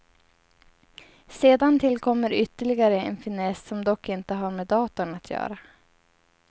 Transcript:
Sedan tillkommer ytterligare en finess, som dock inte har med datorn att göra.